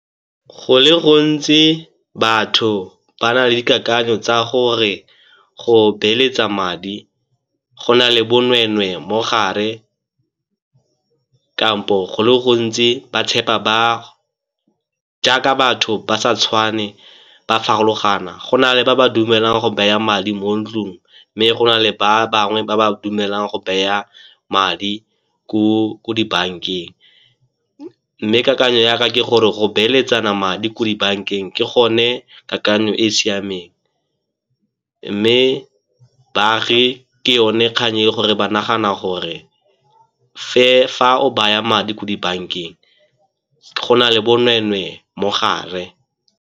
Go le gontsi batho ba na le dikakanyo tsa gore go beeletsa madi go na le bonweenwee mo gare kampo go le gontsi ba tshepa ba, jaaka batho ba sa tshwane ba farologana go na le ba ba dumelang go baya madi mo ntlung, mme go na le ba bangwe ba ba dumelang go baya madi ko dibankeng. Mme kakanyo ya ka ke gore go beeletsana madi ko dibankeng ke gone kakanyo e e siameng, mme baagi ke yone kgang e gore ba nagana gore fa o baya madi ko dibankeng, go na le bonweenwee mo gare.